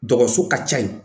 Dɔgɔso ka ca yen